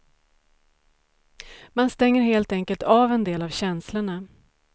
Man stänger helt enkelt av en del av känslorna.